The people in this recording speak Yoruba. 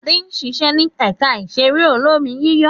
Adé ń ṣiṣẹ́ ní ẹ̀ka ìṣeré olómi-yíyọ̀.